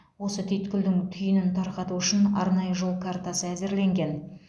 осы түйткілдің түйінін тарқату үшін арнайы жол картасы әзірленген